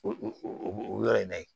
O o yɔrɔ in na ye